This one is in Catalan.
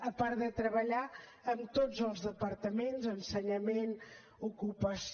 a part de treballar amb tots els departaments ensenyament ocupació